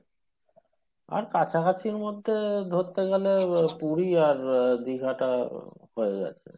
আর কাছাকাছির মধ্যে ধরতে গেলে আহ পুরি আর দিঘা টা হয়ে যাবে।